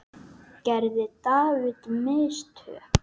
Gerði David mistök?